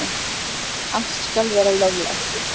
Allt skal vera löglegt.